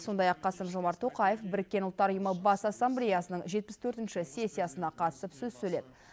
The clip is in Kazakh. сондай ақ қасым жомарт тоқаев біріккен ұлттар ұйымы бас ассамблеясының жетпіс төртінші сессиясына қатысып сөз сөйледі